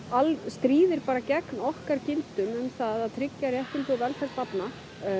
stríðir gegn okkar gildum um það tryggja réttindi og velferð barna